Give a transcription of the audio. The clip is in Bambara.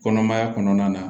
Kɔnɔmaya kɔnɔna na